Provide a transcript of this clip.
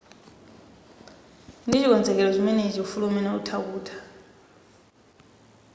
ndi chikonzero chimenechi ufulu umenewu utha kutha